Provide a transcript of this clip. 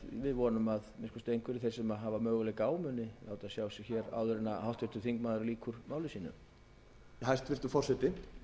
við vonum að að minnsta kosti einhverjir þeir sem hafa möguleika á muni láta sig hér áður en háttvirtur þingmaður lýkur máli sínu hæstvirtur forseti